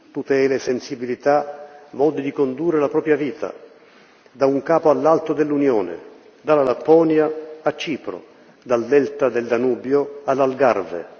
tutele, sensibilità, modi di condurre la propria vita, da un capo all'altro dell'Unione, dalla Lapponia a Cipro, dal delta del Danubio all'Algarve.